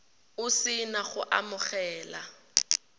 o se na go amogela